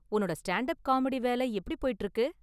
உன்னோட stand up comedy வேலை எப்படி போய்ட்டு இருக்கு?